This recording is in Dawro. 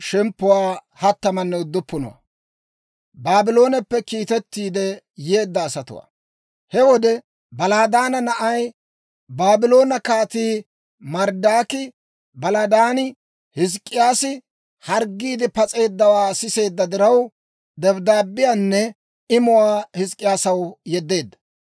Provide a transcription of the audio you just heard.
He wode, Baladaana na'ay, Baabloone Kaatii Marodaaki Baladaani, Hizk'k'iyaasi harggiide pas'eeddawaa siseedda diraw, dabddaabbiyaanne imuwaa Hizk'k'iyaasaw yeddeedda.